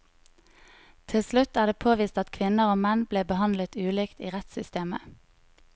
Til slutt er det påvist at kvinner og menn ble behandlet ulikt i rettssytemet.